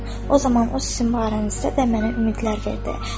O zaman o sizin barənizdə də mənə ümidlər verdi.